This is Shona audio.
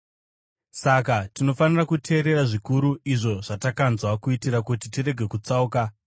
Saka tinofanira kuteerera zvikuru, izvo zvatakanzwa, kuitira kuti tirege kutsauka.